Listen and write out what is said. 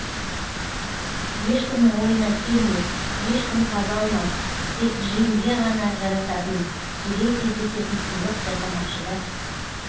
ешкімнің ойына келмес ешкім таба алмас тек джимге ғана жарасатын сирек кездесетін сыйлық жасамақшы да